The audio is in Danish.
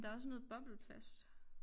Der også noget bobleplast